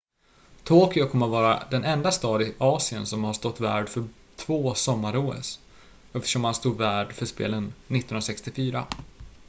tokyo kommer att vara den enda stad i asien som har stått värd för två sommar-os eftersom man stod värd för spelen 1964